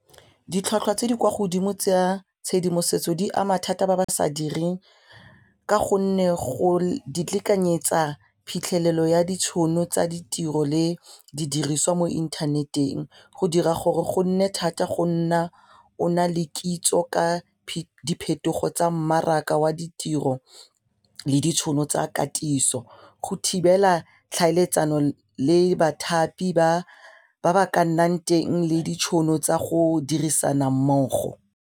Ditlhwatlhwa tse di kwa godimo tsa tshedimosetso di ama thata ba ba sa direng ka gonne go di lekanyetsa phitlhelelo ya ditšhono tsa ditiro le didiriswa mo internet-eng go dira gore go nne thata go nna ona le kitso ka diphetogo tsa mmaraka wa ditiro le ditšhono tsa katiso go thibela tlhaeletsano le bathapi ba ba ka nnang teng le ditšhono tsa go dirisana mmogo.